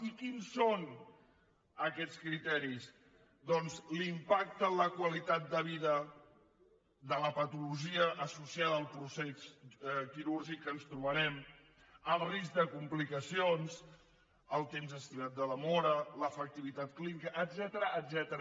i quins són aquests criteris doncs l’impacte en la qualitat de vida de la patologia associada al procés quirúrgic que ens trobarem el risc de complicacions el temps estimat de demora l’efectivitat clínica etcètera